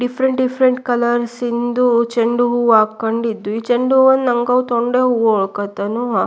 different different colours ದು ಚೆಂಡು ಹೂವ ಹಾಕ್ಕೊಂಡಿದ್ವಿ ಚೆಂಡು ಹೂವ ನಮಗೂ ತೊಂಡೆ ಹೂವ ಹಾಕೋಂತನು--